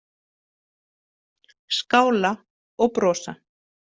Skála og brosa?